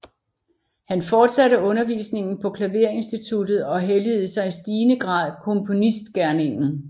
Han fortsatte undervisningen på klaverinstituttet og helligede sig i stigende grad komponistgerningen